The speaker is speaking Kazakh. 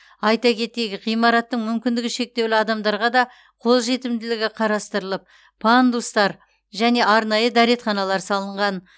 айта кетейік ғимараттың мүмкіндігі шектеулі адамдарға да қол жетімділігі қарастырылып пандустар және арнайы дәретханалар салынған